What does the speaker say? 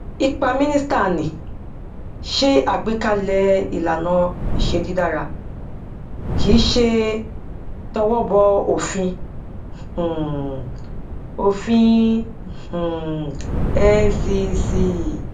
ipa mínísíta ni ṣe agbékalè ìlànàiṣé dídara kíí ṣe towó bọ òfin um òfin um ncc